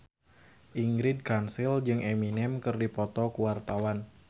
Ingrid Kansil jeung Eminem keur dipoto ku wartawan